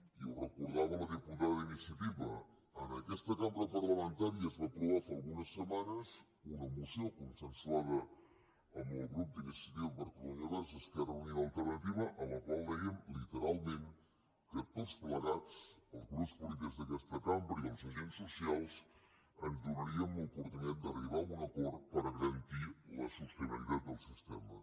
i ho recordava la diputada d’iniciativa en aquesta cambra parlamentària es va aprovar fa algunes setmanes una moció consensuada amb el grup d’iniciativa per catalunya verds esquerra unida i alternativa en la qual dèiem literalment que tots plegats els grups polítics d’aquesta cambra i els agents socials ens donaríem l’oportunitat d’arribar a un acord per garantir la sostenibilitat del sistema